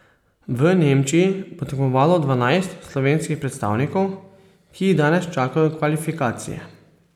V Nemčiji bo tekmovalo dvanajst slovenskih predstavnikov, ki jih danes čakajo kvalifikacije.